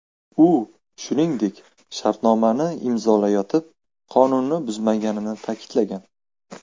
U, shuningdek, shartnomani imzolayotib, qonunni buzmaganini ta’kidlagan.